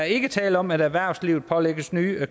ikke tale om at erhvervslivet pålægges nye